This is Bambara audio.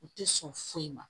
U tɛ sɔn foyi ma